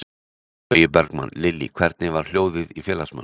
Logi Bergmann: Lillý, hvernig var hljóðið í félagsmönnum?